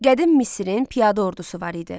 Qədim Misrin piyada ordusu var idi.